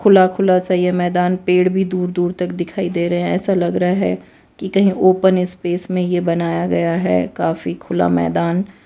खुला खुला सा ये मैदान पेड़ भी दूर दूर तक दिखाई दे रहे है ऐसा लग रहा है की कही ओपन स्पेस मे ये बनाया गया है काफी खुला मैदान--